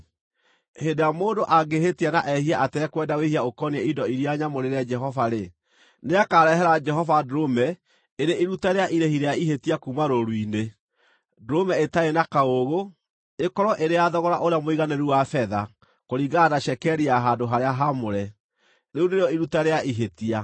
“Hĩndĩ ĩrĩa mũndũ angĩhĩtia na ehie atekwenda wĩhia ũkoniĩ indo iria nyamũrĩre Jehova-rĩ, nĩakarehera Jehova ndũrũme ĩrĩ iruta rĩa irĩhi rĩa ihĩtia kuuma rũũru-inĩ, ndũrũme ĩtarĩ na kaũũgũ, ĩkorwo ĩrĩ ya thogora ũrĩa mũiganĩru wa betha, kũringana na cekeri ya handũ-harĩa-haamũre. Rĩu nĩrĩo iruta rĩa ihĩtia.